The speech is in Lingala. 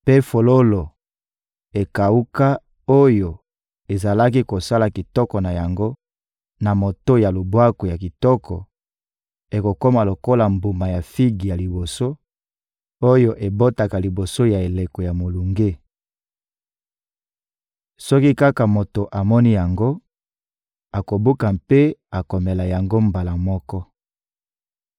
mpe fololo ekawuka oyo ezalaki kosala kitoko na yango na moto ya lubwaku ya kitoko ekokoma lokola mbuma ya figi ya liboso oyo ebotaka liboso ya eleko ya molunge: soki kaka moto amoni yango, akobuka mpe akomela yango mbala moko.